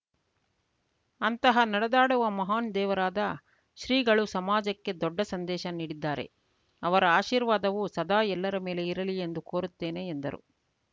ಅಂತಹ ನಡೆದಾಡುವ ಮಹಾನ್‌ ದೇವರಾದ ಶ್ರೀಗಳು ಸಮಾಜಕ್ಕೆ ದೊಡ್ಡ ಸಂದೇಶ ನೀಡಿದ್ದಾರೆ ಅವರ ಆಶೀರ್ವಾದವು ಸದಾ ಎಲ್ಲರ ಮೇಲೆ ಇರಲಿ ಎಂದು ಕೋರುತ್ತೇನೆ ಎಂದರು